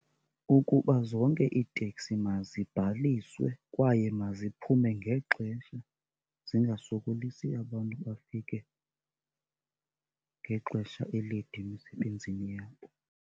Ukuba zonke iiteksi mazibhaliswe kwaye maziphume ngexesha zingasokolisi abantu bafike ngexesha elide emisebenzini yabo.